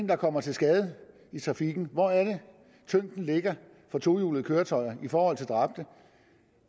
der kommer til skade i trafikken hvor er det tyngden ligger for tohjulede køretøjer i forhold til dræbte